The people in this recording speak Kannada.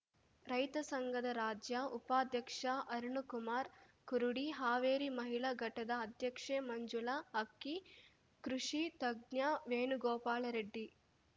ರೈತ ಸಂಘದ ರಾಜ್ಯ ಉಪಾಧ್ಯಕ್ಷ ಅರುಣಕುಮಾರ ಕುರುಡಿ ಹಾವೇರಿ ಮಹಿಳಾ ಘಟದ ಅಧ್ಯಕ್ಷೆ ಮಂಜುಳಾ ಅಕ್ಕಿ ಕೃಷಿ ತಜ್ಞ ವೇಣುಗೋಪಾಲ ರೆಡ್ಡಿ